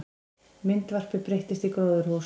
Myndvarpi breyttist í gróðurhús